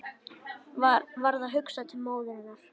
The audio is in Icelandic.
Varð hugsað til móður hennar.